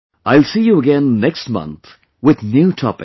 I will see you again next month with new topics